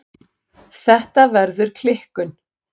Þetta verður klikkun.